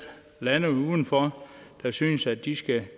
lande udenfor der synes at de skal